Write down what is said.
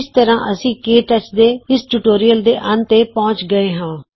ਇਸ ਤਰ੍ਹਾਂ ਅਸੀਂ ਕੇ ਟੱਚ ਦੇ ਇਸ ਟਿਯੂਟੋਰੀਅਲ ਦੇ ਅੰਤ ਤੇ ਪਹੁੰਚ ਗਏੇ ਹਾਂ